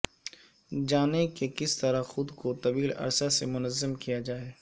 جانیں کہ کس طرح خود کو طویل عرصہ سے منظم کیا جائے